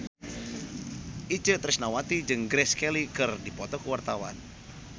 Itje Tresnawati jeung Grace Kelly keur dipoto ku wartawan